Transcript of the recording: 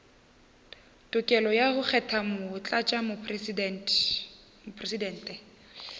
tokelo ya go kgetha motlatšamopresidente